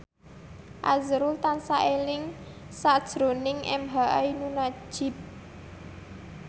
azrul tansah eling sakjroning emha ainun nadjib